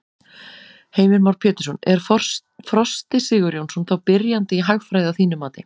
Heimir Már Pétursson: Er Frosti Sigurjónsson þá byrjandi í hagfræði að þínu mati?